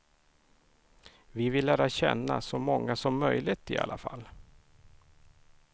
Vi vill lära känna så många som möjligt i alla fall.